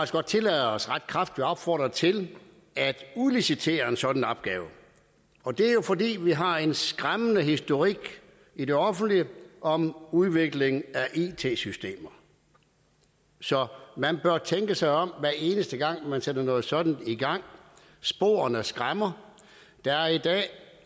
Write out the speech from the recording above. godt tillade os ret kraftigt at opfordre til at udlicitere en sådan opgave og det er jo fordi vi har en skræmmende historik i det offentlige om udvikling af it systemer så man bør tænke sig om hver eneste gang man sætter noget sådant i gang sporene skræmmer der er